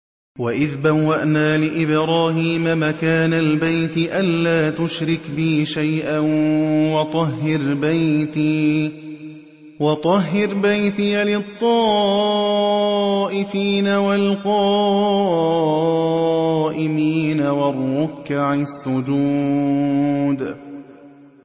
وَإِذْ بَوَّأْنَا لِإِبْرَاهِيمَ مَكَانَ الْبَيْتِ أَن لَّا تُشْرِكْ بِي شَيْئًا وَطَهِّرْ بَيْتِيَ لِلطَّائِفِينَ وَالْقَائِمِينَ وَالرُّكَّعِ السُّجُودِ